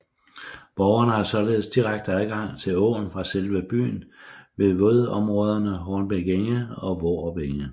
Borgerne har således direkte adgang til åen fra selve byen ved vådområderne Hornbæk Enge og Vorup Enge